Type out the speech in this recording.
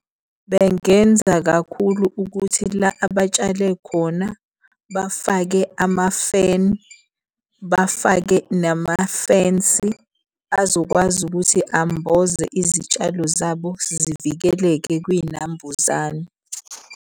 Bengenza kakhulu ukuthi la abatshale khona bafake amafeni, bafake namafensi azokwazi ukuthi amboze izitshalo zabo zivikeleke kwiy'nambuzane.